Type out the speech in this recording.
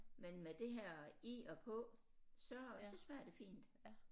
Men med det her i og på så så smager det fint